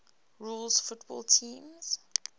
rules football teams